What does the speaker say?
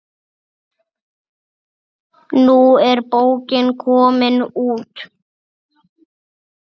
Nú er bókin komin út.